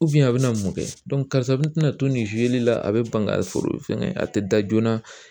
a bɛna mun kɛ karisa bina to nin la a be ban ka foro fɛngɛ a te da joona